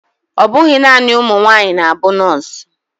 Ọbụghị naanị ụmụnwaanyị na-bụ nurse